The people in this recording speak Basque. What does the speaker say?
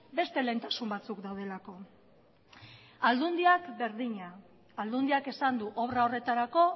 beste lehentasun batzuk daudelako aldundiak berdina aldundiak esan du obra horretarako